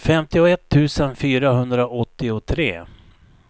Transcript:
femtioett tusen fyrahundraåttiotre